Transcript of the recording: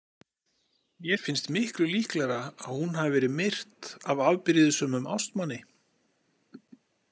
Mér finnst miklu líklegra að hún hafi verið myrt af afbrýðissömum ástmanni.